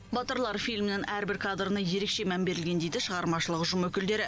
батырлар фильмінің әрбір кадрына ерекше мән берілген дейді шығармашылық ұжым өкілдері